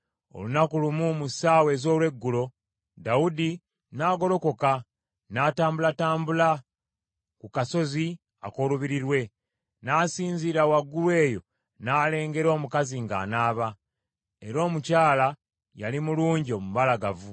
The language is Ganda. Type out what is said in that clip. Olunaku olumu, mu ssaawa ez’olweggulo, Dawudi n’agolokoka, n’atambulatambula ku kasolya ak’olubiri lwe. N’asinziira waggulu eyo n’alengera omukazi ng’anaaba, era omukyala yali mulungi omubalagavu.